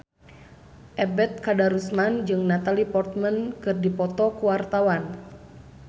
Ebet Kadarusman jeung Natalie Portman keur dipoto ku wartawan